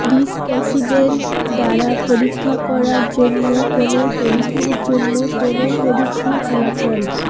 ডিসপ্যাসিডেড দ্বারা পরীক্ষা করার জন্য কোনও পরীক্ষার জন্য কোনও পরীক্ষার ফলাফল